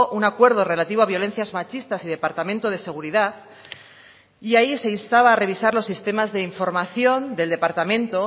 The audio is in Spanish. un acuerdo relativo a violencias machistas y departamento de seguridad y ahí se instaba a revisar los sistemas de información del departamento